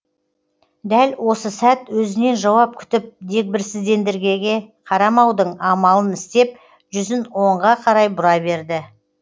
дәл осы сәт өзінен жауап күтіп дегбірсіздендергеге қарамаудың амалын істеп жүзін оңға қарай бұра берді